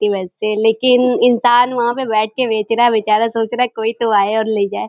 कि वैसे लेकिन इन्सान वहाँ पे बैठ के बेच रहा है बेचारा और सोच रहा है कि कोई तो आये और ले जाये।